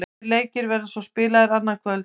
Tveir leikir verða svo spilaðir annað kvöld.